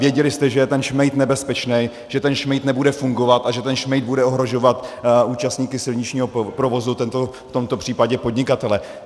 Věděli jste, že je ten šmejd nebezpečný, že ten šmejd nebude fungovat a že ten šmejd bude ohrožovat účastníky silničního provozu, v tomto případě podnikatele.